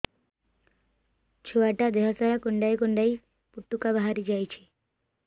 ଛୁଆ ଟା ଦେହ ସାରା କୁଣ୍ଡାଇ କୁଣ୍ଡାଇ ପୁଟୁକା ବାହାରି ଯାଉଛି